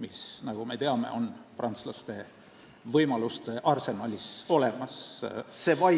mis, nagu me teame, on prantslaste võimaluste arsenalis olemas.